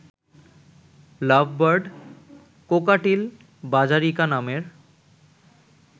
লাভ bird, cockatiel, budgerigar নামের